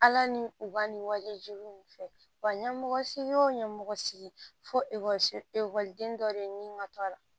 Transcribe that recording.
Ala ni u ka nin walejo nin fɛ wa ɲɛmɔgɔ si o ɲɛmɔgɔ sigi fo ekɔliso ekɔliden dɔ de ni ma to a la